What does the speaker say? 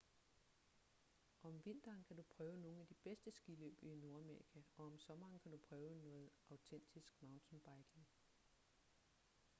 om vinteren kan du prøve nogle af de bedste skiløb i nordamerika og om sommeren kan du prøve noget autentisk mountainbiking